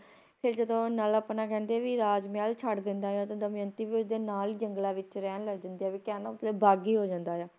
ਤੇ ਜਦੋ ਨਲ ਆਪਣਾ ਕਹਿੰਦੇ ਆ ਵੀ ਰਾਜਮਹਿਲ ਛੱਡ ਦਿੰਦਾ ਆ ਤਾਂ ਦਮਿਅੰਤੀ ਵੀ ਉਸਦੇ ਨਾਲ ਜੰਗਲਾਂ ਵਿੱਚ ਰਹਿਣ ਲੱਗ ਜਾਂਦੀ ਆ ਵੀ ਕਹਿਣ ਦਾ ਮਤਲਬ ਕੀ ਬਾਗੀ ਹੋ ਜਾਂਦਾ ਆ